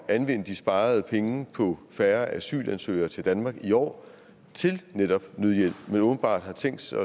at anvende de sparede penge på færre asylansøgere til danmark i år til netop nødhjælp men åbenbart har tænkt sig